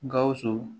Gawusu